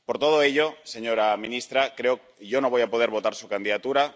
Por todo ello, señora ministra, yo no voy a poder votar su candidatura.